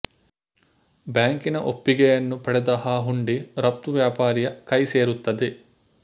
ಬ್ಯಾಂಕಿನ ಒಪ್ಪಿಗೆಯನ್ನು ಪಡೆದ ಆ ಹುಂಡಿ ರಫ್ತು ವ್ಯಾಪಾರಿಯ ಕೈ ಸೇರುತ್ತದೆ